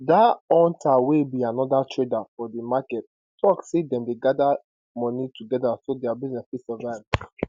dan auta wey be anoda trader for di market tok say dem dey gada money togeda so dia business fit survive